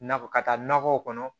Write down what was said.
Nakɔ ka taa nakɔw kɔnɔ